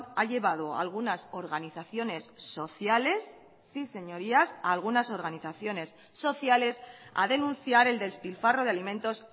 ha llevado a algunas organizaciones sociales sí señorías a algunas organizaciones sociales a denunciar el despilfarro de alimentos